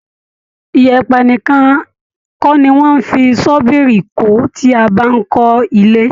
ìyẹ̀pẹ̀ nìkan kọ ni wón ń fi ṣọ́bìrì kó tí a bá ń kó ilé.